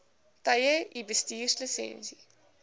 tye u bestuurslisensie